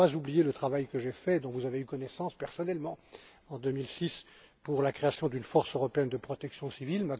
rôle. Je n'ai pas oublié le travail que j'ai fait, et dont vous avez eu connaissance personnellement, en 2006 pour la création d'une force européenne de protection civile.